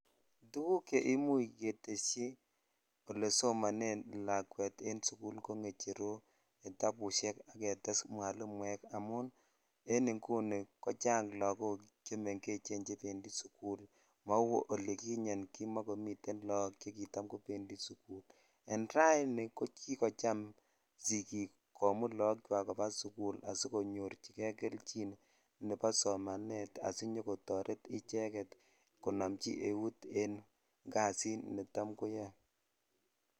Tuguk che imuch ketesyi olesomonen en sukul ko ngecherok ,kitabushek ak ketes mwalimuekamun en inguni ko chang lakok chebendi sukul mau olikinyen kimakomi laok che kitam kobendi sukul en raini ko kikocham sikik komut lok chwak koba sukul asikonyorchijei kelchin nebo somanet asinyo nyokotoret inendet konomchi eut en kasit netam yoe.